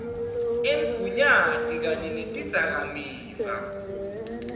emgunyati kanye netidzakamiva